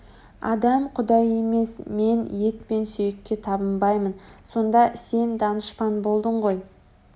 адам құдай емес мен ет пен сүйекке табынбаймын сонда сен данышпан болдың ғой